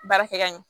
Baara kɛ ka ɲɛ